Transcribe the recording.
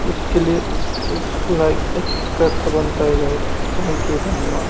इसके लिए एक लाइक एक सब्सक्राइब तो बनता है गाइस थैंक यू धन्यवाद।